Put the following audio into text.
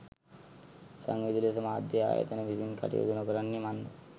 සංවේදී ලෙස මාධ්‍ය ආයතන විසින් කටයුතු නොකරන්නේ මන්ද